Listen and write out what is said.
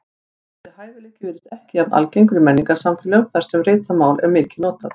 Þessi hæfileiki virðist ekki jafn algengur í menningarsamfélögum þar sem ritað mál er mikið notað.